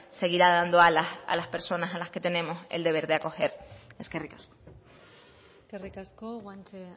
seguirá dando alas a las personas a las que tenemos el deber de acoger eskerrik asko eskerrik asko guanche